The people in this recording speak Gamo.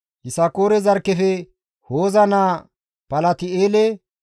Yisakoore zarkkefe Hooza naa Palti7eele,